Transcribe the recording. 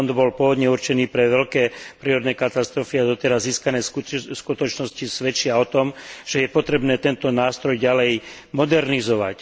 Fond bol pôvodne určený na veľké prírodné katastrofy a doteraz získané skutočnosti svedčia o tom, že je potrebné tento nástroj ďalej modernizovať.